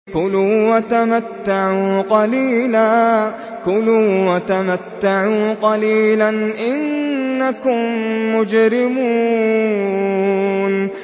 كُلُوا وَتَمَتَّعُوا قَلِيلًا إِنَّكُم مُّجْرِمُونَ